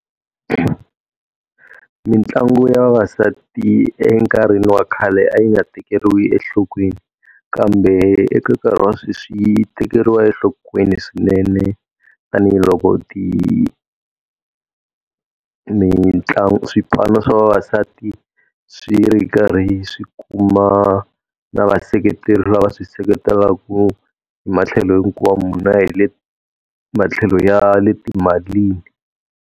Mitlangu ya vavasati enkarhini wa khale a yi nga tekeriwi enhlokweni, kambe eka nkarhi wa sweswi yi tekeriwa enhlokweni swinene tanihiloko ti swipano swa vavasati swi ri karhi swi kuma na vaseketeri lava swi seketelaka hi matlhelo hinkwawo na hi le matlhelo ya le timalini.